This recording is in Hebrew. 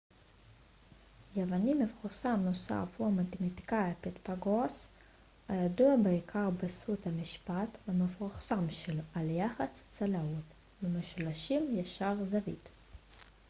יווני מפורסם נוסף הוא המתמטיקאי פיתגורס הידוע בעיקר בזכות המשפט המפורסם שלו על יחס הצלעות במשולשים ישרי זווית